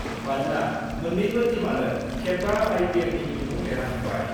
मानोना मोननैबो टीमआनो खेब 5 आइपिएलनि बिमुं देरहाखांबाय।